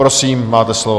Prosím, máte slovo.